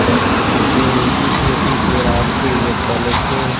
तेरे पीछे पीछे रास्ते ये चल के